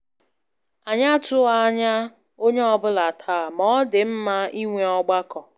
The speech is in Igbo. Anyị atụghị ányá onyé ọ bụla taa, ma ọ dị mma inwe ọgbakọ